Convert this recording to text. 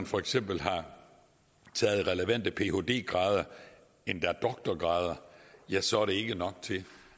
for eksempel har taget relevante phd grader endda doktorgrader ja så er det ikke nok til